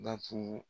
Datugu